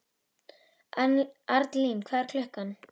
Arnlín, hvað er klukkan?